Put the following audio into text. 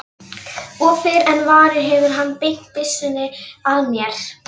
Og fyrr en varir hefur hann beint byssunni að mér.